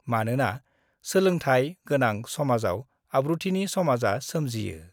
मानोना सोलोंथाइ गोनां समाजाव आब्रुथिनि समाजा सोमजियो।